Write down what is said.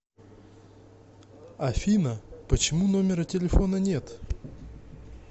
афина почему номера телефона нет